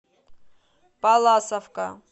палласовка